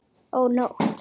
Ó nótt!